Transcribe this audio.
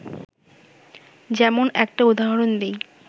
যেমন একটা উদাহরণ দিই